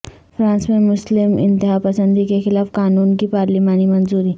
France میں مسلم انتہا پسندی کے خلاف قانون کی پارلیمانی منظوری